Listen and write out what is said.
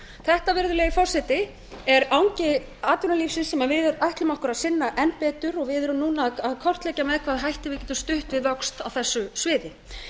þetta virðulegi forseti er angi atvinnulífsins sem við ætlum okkur að sinna enn betur og við erum núna að kortleggja með hvaða hætti við getum stutt við vöxt á þessu sviði